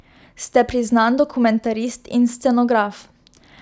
Ste priznan dokumentarist in scenograf.